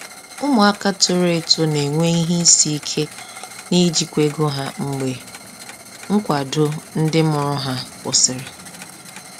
Ụmụaka toro eto na-enwe ihe isi ike n’ijikwa ego ha mgbe nkwado ndị mụrụ ha kwụsịrị.